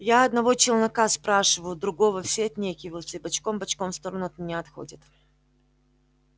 я одного челнока спрашиваю другого все отнекиваются и бочком-бочком в сторону от меня отходят